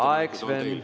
Aeg, Sven!